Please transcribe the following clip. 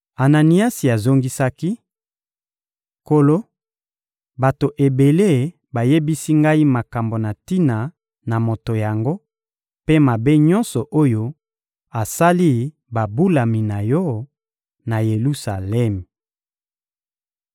Ananiasi azongisaki: — Nkolo, bato ebele bayebisi ngai makambo na tina na moto yango mpe mabe nyonso oyo asali babulami na Yo, na Yelusalemi.